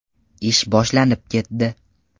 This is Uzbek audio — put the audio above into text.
Ish boshlanib ketdi.